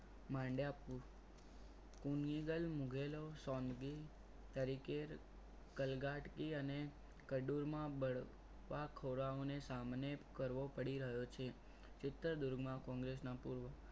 માંડીઆપુ ઉમિકલ મુગેલો સોંગવી તરીકેર કલગાટ એ અને કડુરમાં બળ પાકોરાવો ને સામને કરવો પડી રહ્યો છે. ચિત્રદૂરમાં કોંગ્રેસના પૂર્વ